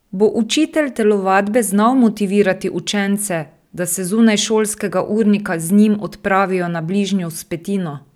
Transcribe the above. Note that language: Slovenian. Bo učitelj telovadbe znal motivirati učence, da se zunaj šolskega urnika z njim odpravijo na bližnjo vzpetino?